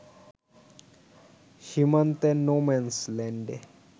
সীমান্তের নো-ম্যানস ল্যান্ডে